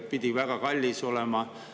Pidi väga kallis olema.